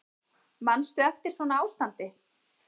Manstu eftir svona ástandi?